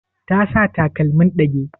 Ta sa takalmin ɗage?